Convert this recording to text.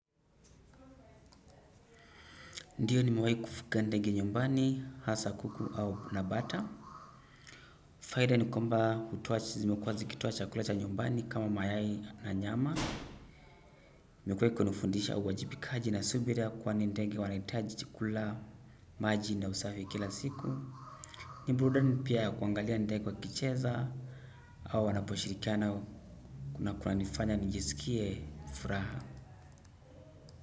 Ndiyo nimewahi kufuga ndege nyumbani, hasa kuku na bata. Faida ni kwamba hutoa chakula cha nyumbani kama mayai na nyama. Imekuwa ikinifundisha uwajibikaji na subira kwani ndege wanahitaji chakula, maji na usafi kila siku. Ni burudani pia kuangalia ndege wakicheza au wanaposhirikiana na kuna nifanya nijisikie furaha.